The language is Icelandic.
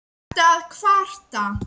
Ertu að kvarta?